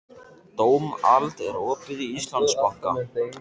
Dómald, er opið í Íslandsbanka?